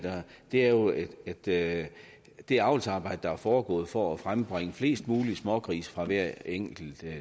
det er jo at det det avlsarbejde der er foregået for at frembringe flest mulige smågrise fra hver enkelt